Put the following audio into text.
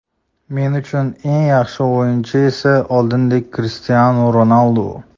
Men uchun eng yaxshi o‘yinchi esa oldingidek Krishtianu Ronaldu.